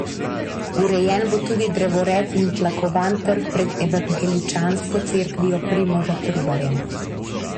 Urejen bo tudi drevored in tlakovan trg pred evangeličansko cerkvijo Primoža Trubarja.